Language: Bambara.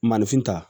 Maanifin ta